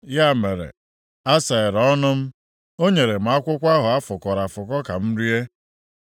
Ya mere, a saghere m ọnụ m, o nyere m akwụkwọ ahụ a fụkọrọ afụkọ ka m rie.